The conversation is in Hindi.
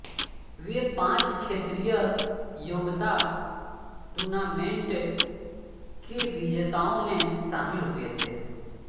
वे पाँच क्षेत्रीय योग्यता टूर्नामेंट के विजेताओं में शामिल हुए थे